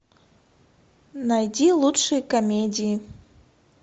найди лучшие комедии